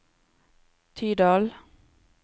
Tydal